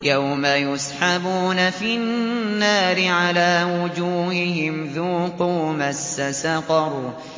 يَوْمَ يُسْحَبُونَ فِي النَّارِ عَلَىٰ وُجُوهِهِمْ ذُوقُوا مَسَّ سَقَرَ